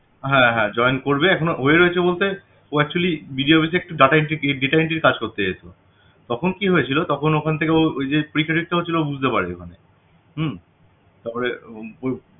হ্যাঁ হ্যাঁ join করবে এখনো হয়ে রয়েছে বলতে ও video office এ actually তে একটা data entry data entry র কাজ করতে এসছিল তখন কি হয়েছিল তখন ওখান থেকে ওই যে বুঝতে হম তারপরে